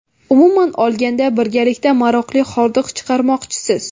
Umuman olganda, birgalikda maroqli hordiq chiqarmoqchisiz.